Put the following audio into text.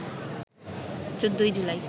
১৪ই জুলাই